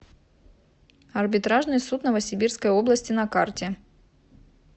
арбитражный суд новосибирской области на карте